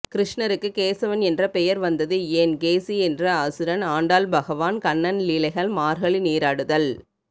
கிருஷ்ணருக்கு கேசவன் என்ற பெயர் வந்தது ஏன் கேசி என்ற அசுரன் ஆண்டாள் பகவான் கண்ணன் லீலைகள் மார்கழி நீராடுதல்